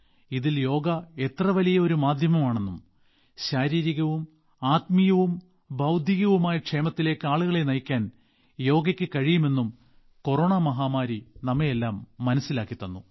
ഇതിൽ യോഗ എത്ര വലിയ ഒരു മാധ്യമമാണെന്നും ശാരീരികവും ആത്മീയവും ബൌദ്ധികവുമായ ക്ഷേമത്തിലേക്ക് ആളുകളെ നയിക്കാൻ യോഗയ്ക്ക് കഴിയുമെന്നും കൊറോണ മഹാമാരി നമ്മെയെല്ലാം മനസ്സിലാക്കി തന്നു